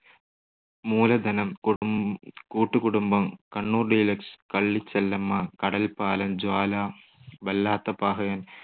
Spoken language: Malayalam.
മൂലധനം, കുടു കൂട്ടുകുടുംബം, കണ്ണൂർ ഡീലക്സ്, കള്ളിച്ചെല്ലമ്മ, കടൽപ്പാലം, ജ്വാല, വല്ലാത്ത പഹയൻ